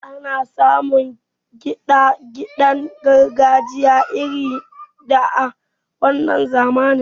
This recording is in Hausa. Ana samun kiɗa kiɗen gargajiya irin na da a wannan zamanin.